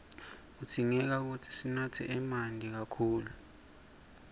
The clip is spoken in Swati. kudzingeka sinatse emanti kakhulu